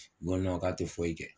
Ko ka tɛ foyi kɛ.